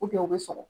u bɛ sɔrɔ